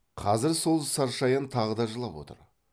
қазір сол саршаян тағы да жылап отыр